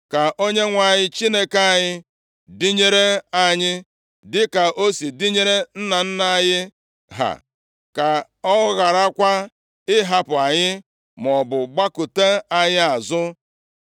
Ka Onyenwe anyị Chineke anyị dịnyere anyị, dịka o si dịnyere nna nna anyị ha. Ka ọ gharakwa ịhapụ anyị, maọbụ gbakụta anyị azụ.